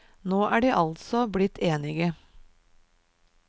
Nå er de altså blitt enige.